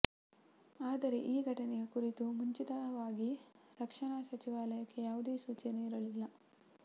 ಆದರೆ ಈ ಘಟನೆಯ ಕುರಿತು ಮುಂಚಿತವಾಗಿ ರಕ್ಷಣಾ ಸಚಿವಾಲಯಕ್ಕೆ ಯಾವುದೇ ಸೂಚನೆ ಇರಲಿಲ್ಲ